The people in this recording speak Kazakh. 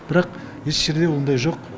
бірақ еш жерде ондай жоқ